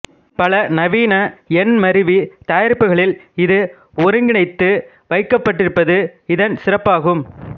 பல நவீன எண்மருவி தயாரிப்புகளில் இது ஒருங்கிணைத்து வைக்கப்பட்டிருப்பது இதன் சிறப்பாகும்